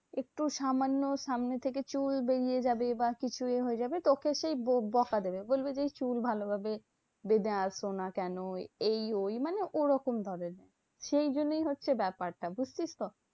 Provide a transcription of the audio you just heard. একটু সামান্য সামনে থেকে চুল বেরিয়ে যাবে বা কিছু এ হয়ে যাবে তোকে সেই ব বকা দেবে। বলবে যে এই চুল ভালোভাবে বেঁধে আসোনা কেন? এই ওই মানে ওরকম ধরণের। সেই জন্যেই হচ্ছে ব্যাপারটা বুঝছিস তো?